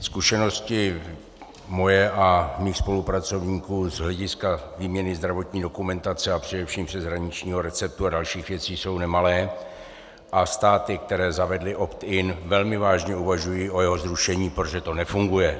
Zkušenosti moje a mých spolupracovníků z hlediska výměny zdravotní dokumentace a především přeshraničního receptu a dalších věcí jsou nemalé a státy, které zavedly opt-in, velmi vážně uvažují o jeho zrušení, protože to nefunguje.